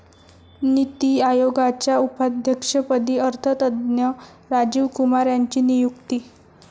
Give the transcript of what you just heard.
नीती आयोगाच्या उपाध्यक्षपदी अर्थतज्ज्ञ राजीव कुमार यांची नियुक्ती